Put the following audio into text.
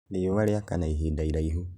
Rĩũa rĩakana ihinda iraihu